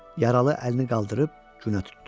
Yaralı əlini qaldırıb günə tutdu.